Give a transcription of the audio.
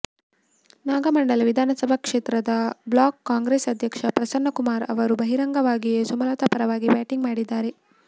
ನಾಗಮಂಗಲ ವಿಧಾನಸಭಾ ಕ್ಷೇತ್ರದ ಬ್ಲಾಕ್ ಕಾಂಗ್ರೆಸ್ ಅಧ್ಯಕ್ಷ ಪ್ರಸನ್ನಕುಮಾರ್ ಅವರು ಬಹಿರಂಗವಾಗಿಯೇ ಸುಮಲತಾ ಪರವಾಗಿ ಬ್ಯಾಟಿಂಗ್ ಮಾಡಿದ್ದಾರೆ